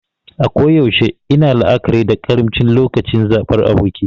A koyaushe ina la'akari da karimci lokacin zabar aboki.